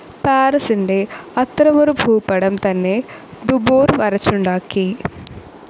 പാരിസിന്റെ അത്തരമൊരു ഭൂപടം തന്നെ ദുബോർ വരച്ചുണ്ടാക്കി,.